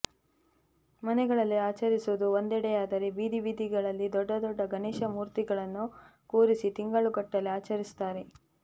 ಮನೆಗಳಲ್ಲಿ ಆಚರಿಸುವುದು ಒಂದೆಡೆಯಾದರೆ ಬೀದಿ ಬೀದಿಗಳಲ್ಲಿ ದೊಡ್ಡ ದೊಡ್ಡ ಗಣೇಶ ಮೂರ್ತಿಗಳನ್ನು ಕೂರಿಸಿ ತಿಂಗಳುಗಟ್ಟಲೆ ಆಚರಿಸುತ್ತಾರೆ